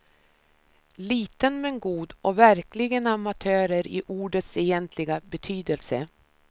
Liten men god och verkligen amatörer i ordets egentliga betydelse.